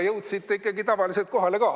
Jõudsite ikkagi tavaliselt kohale ka.